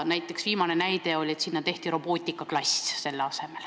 Viimane näide oli, et selle asemele tehti robootikaklass.